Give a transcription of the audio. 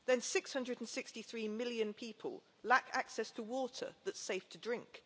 Six hundred and sixty million people lack access to water that's safe to drink.